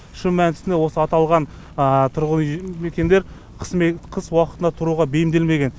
шын мәнісінде осы аталған тұрғын үй мекендер қыс уақытында тұруға бейімделмеген